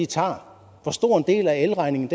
tager hvor stor en del er elregningen